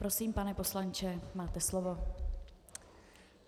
Prosím, pane poslanče, máte slovo.